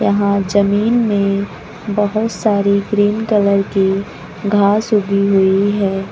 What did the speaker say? यहां जमीन में बहुत सारी ग्रीन कलर की घास उगी हुई है।